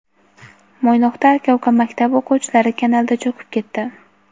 Mo‘ynoqda aka-uka maktab o‘quvchilari kanalda cho‘kib ketdi.